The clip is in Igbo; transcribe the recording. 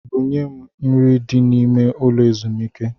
Bunye m nri ahụ dị n'ime ụlọ ezumike!